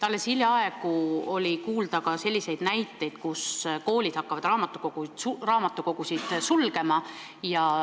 Alles hiljaaegu toodi näiteid, et koolid hakkavad raamatukogusid sulgema.